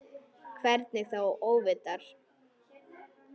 Hvernig þá óvitar?